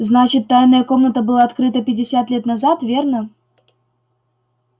значит тайная комната была открыта пятьдесят лет назад верно